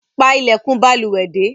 Pa ilèkùn balùwè dé